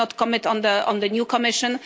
I cannot comment on the new Commission.